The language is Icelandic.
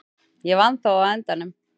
Ég vann þó á endanum.